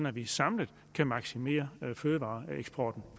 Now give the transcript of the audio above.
at vi samlet kan maksimere fødevareeksporten